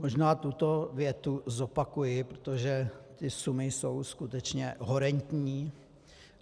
Možná tuto větu zopakuji, protože ty sumy jsou skutečně horentní.